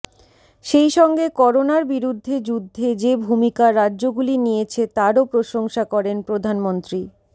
সেইসঙ্গে করোনার বিরুদ্ধে যুদ্ধে যে ভূমিকা রাজ্যগুলি নিয়েছে তারও প্রশংসা করেন প্রধানমন্ত্রী